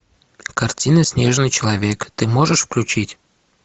картина снежный человек ты можешь включить